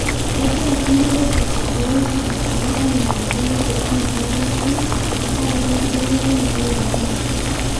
kengira kulie weujitin tolkijiji aimaa engoloto enyamali enkare tengaraki enkibelekenyata oloingange